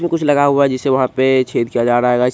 इसमे कुछ लगा हुआ है जिससे वहां पे छेद किया जा रहा है गाइज ---